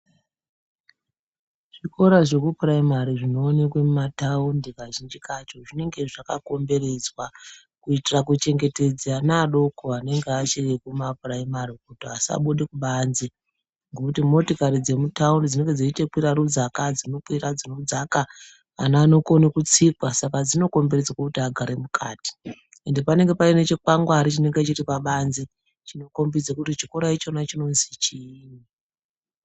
Zvikora zvekupuraimari zvinoonekwe mumathaundi kazhinji kacho zvinenge zvakakomberedzwa, kuitira kuchengetedza ana adoko anenge achiri kumapuraimari kuti asabude kubanze. Ngokuti motikari dzemuthaundi dzinenge dzeiite kwira rudzaka, dzinokwira, dzinodzaka. Ana anokona kutsikwa saka dzinokomberedzwa kuti agare mukati. Ende panenge pane chikwangwari chinenge chiri pabanze chino kombidze kuti chikora ichona chinozi chiini.